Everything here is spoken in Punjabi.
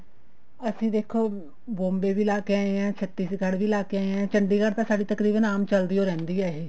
ਅਸੀਂ ਦੇਖੋ Bombay ਵੀ ਲਾ ਕੇ ਆਏ ਹਾਂ ਛੱਤੀਸਗੜ੍ਹ ਵੀ ਲਾਕੇ ਆਏ ਹਾਂ ਚੰਡੀਗੜ੍ਹ ਤਾਂ ਸਾਡੀ ਤਕਰੀਬਨ ਚੱਲਦੀ ਓ ਰਹਿੰਦੀ ਆ ਇਹ